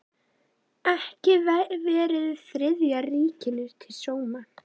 Ekki verið Þriðja ríkinu til sóma.